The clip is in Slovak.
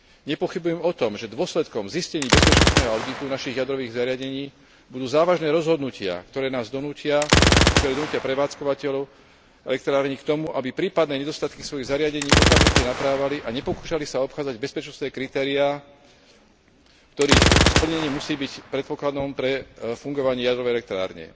Nepochybujem o tom, že dôsledkom zistení bezpečnostného auditu našich jadrových zariadení budú závažné rozhodnutia, ktoré donútia prevádzkovateľov elektrární k tomu, aby prípadné nedostatky svojich zariadení okamžite naprávali a nepokúšali sa obchádzať bezpečnostné kritériá, ktorých splnenie musí byť predpokladom pre fungovanie jadrovej elektrárne.